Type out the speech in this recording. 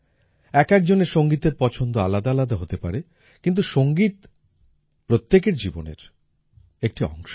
একএকজনের সংগীতের পছন্দ আলাদা আলাদা হতে পারে কিন্তু সংগীত প্রত্যেকের জীবনের একটি অংশ